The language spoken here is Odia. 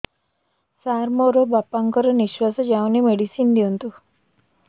ସାର ମୋର ବାପା ଙ୍କର ନିଃଶ୍ବାସ ଯାଉନି ମେଡିସିନ ଦିଅନ୍ତୁ